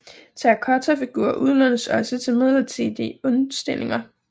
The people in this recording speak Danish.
Terrakottafigurer udlånes også til midlertidige udstillinger